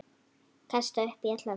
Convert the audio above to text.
Kastaði upp í alla nótt.